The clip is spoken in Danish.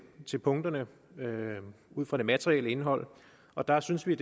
til punkterne ud fra det materielle indhold og der synes vi